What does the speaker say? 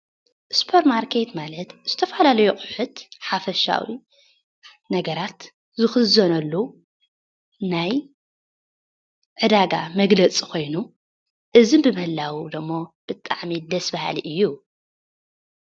ስፖርማርኬት ማለት ዝተፋላለዩ ኣቁሑት ሓፈሻዊ ነገራት ዝኽዘነሉ ናይ ዕዳጋ መግለፂ ኮይኑ እዚ ብምህላው ዶሞ ብጣዕሚ ደሰ ባሃሊ እዩ፡፡